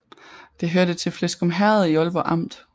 Det hørte til Fleskum Herred i Aalborg Amt